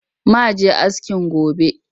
Ma je askin gobe